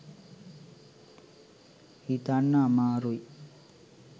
හිතන්න අමාරුයි.